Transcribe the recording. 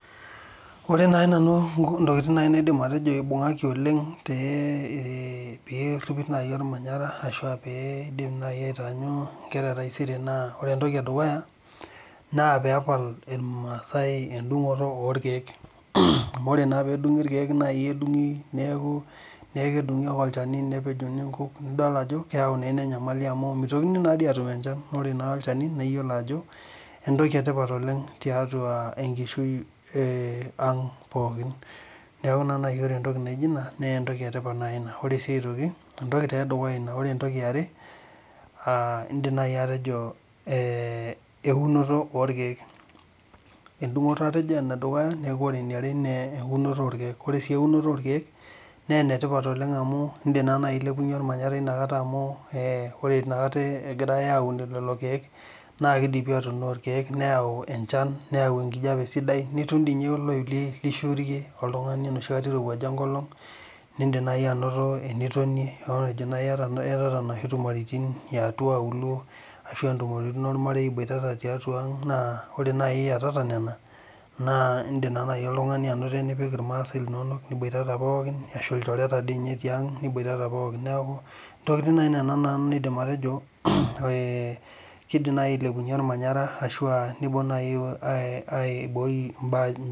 Ore nai nanu nku ntokitin nai naidim atejo ibung'aki oleng' te ee peeripi nai ormanyara ashu aa pee iidim nai aitaanyu inkera e taisere naa ore entoki e dukuya naa peepal irmaasai endung'oto orkeek amu ore naa peedung'i irkeek nai edung'i neeku nee ekedung'i ake olchani nepejuni nkuuk, nido ajo keyau naa ina enyamali amu mitokini naa dii aatum enchan. Ore naa olchani naa iyiolo ajo entoki e tipat oleng' tiatua enkishui ee ang' pookin, neeku naa nai ore entoki naijo ina nee entoki e tipat nai ina. Ore sii aitoki entoki tee edukuya ina, ore entoki e are aa iindim nai atejo ee eunoto orkeek, endung'oto atejo ene dukuya neeku ore eniare nee eunoto oorkeek. Ore sii eunoto orkeek nee ene tipat oleng' amu indim naa nai ailepunye ormanyara inakata amu ee ore inakata ee egirai aaun lelo keek naa kidipi aatuuno irkeek neeu enchan, neeu enkijape sidai, nitum dii nye oloip li lishurie oltung'ani enoshi kata irowuaja enkolong' niindim nai anoto enitonie, matejo nai iyata iyatata inoshi tumoritin ee atua aulo ashu entumoritin ormarei iboitata tiatua ang', naa ore nai iyatata nena naa iindim naa nai oltung'ani anoto enipik irmaasai linonok, niboitata pookin ashu ilchoreta dii nye tiang' niboitata pookin. Neeku intokitin nai nena naa naidim atejo ee kiidim nai ailepunye ormanyara ashu aa niibung' nai ai ai aiboi mbaa